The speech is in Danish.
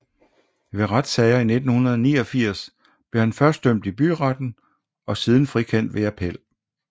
Ved retssager i 1989 blev han først dømt i byretten og siden frikendt ved appel